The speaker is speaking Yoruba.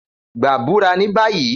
Gba bura ni bayi!